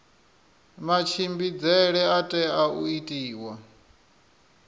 matshimbidzele a tea u itiwa